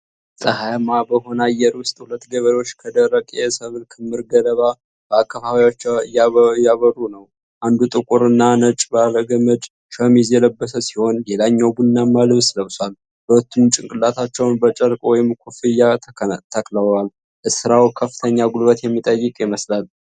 ፀሐያማ በሆነ አየር ውስጥ ሁለት ገበሬዎች ከደረቀ የሰብል ክምር ገለባ በአካፋዎቻቸው እያበሩ ነው። አንዱ ጥቁር እና ነጭ ባለገመድ ሸሚዝ የለበሰ ሲሆን ሌላኛው ቡናማ ልብስ ለብሷል። ሁለቱም ጭንቅላታቸውን በጨርቅ ወይም ኮፍያ ተከልለዋል። ስራው ከፍተኛ ጉልበት የሚጠይቅ ይመስላል።